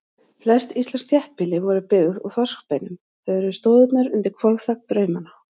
Flest íslensk þéttbýli voru byggð úr þorskbeinum, þau eru stoðirnar undir hvolfþak draumanna.